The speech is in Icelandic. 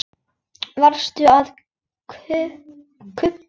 Varstu að gubba?